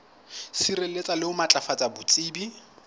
sireletsa le ho matlafatsa botsebi